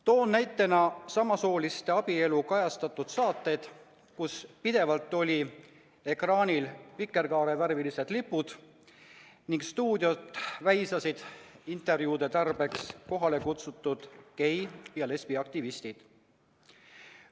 Toon näitena samasooliste abielu kajastanud saated, kus pidevalt olid ekraanil vikerkaarevärvilised lipud ning stuudiot väisasid intervjuude tarbeks kohale kutsutud gei- ja lesbiaktivistid.